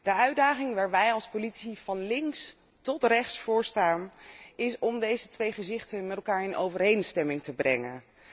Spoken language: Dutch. De uitdaging waar wij als politici van links tot rechts voor staan is om deze twee gezichten met elkaar in overeenstemming te brengen.